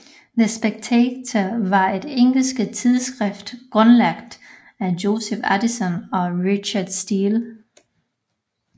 The Spectator var et engelsk tidsskrift grundlagt af Joseph Addison og Richard Steele